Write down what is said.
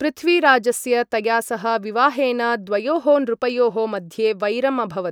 पृथ्वीराजस्य तया सह विवाहेन द्वयोः नृपयोः मध्ये वैरम् अभवत्।